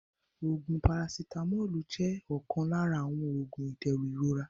Oògún "parasitamọ́ọ́lù" jẹ́ ọ̀kan lára àwọn Oògún ìdẹ̀rùn ìrora